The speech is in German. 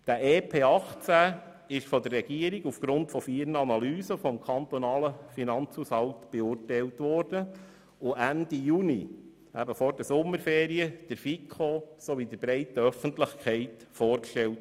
Dieses EP 2018 wurde aufgrund von vier Analysen des kantonalen Finanzhaushaltes beurteilt und Ende Juni vor den Sommerferien der FiKo und der breiten Öffentlichkeit vorgestellt.